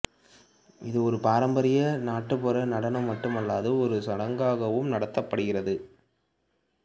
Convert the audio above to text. இது ஒரு பாரம்பரிய நாட்டுப்புற நடனம் மட்டுமல்லாது ஒரு சடங்காகவும் நடத்தப்படுகிறது